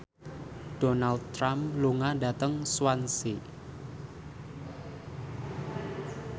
Donald Trump lunga dhateng Swansea